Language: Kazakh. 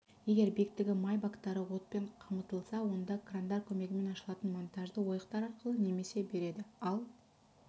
егер биіктігі май бактары отпен қамтылса онда крандар көмегімен ашылатын монтажды ойықтар арқылы немесе береді ал